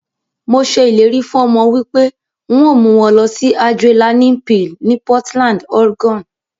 Mo se ileri fun omo wipe n o mu won losi Adrenaline Peal ni Portland, Oregon.